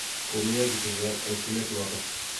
komeiyo biik chechang eng tulet notok